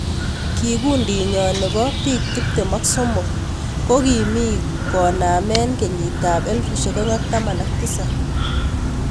Kikundiinyo ne bo biik tiptem ak somok Ko kimii koname kenyit ab 2017.